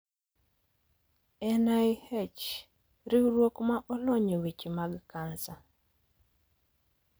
NIH: Riwruok ma olony e weche mag cancer